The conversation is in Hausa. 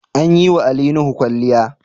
An yi wa Ali Nuhu kwalliya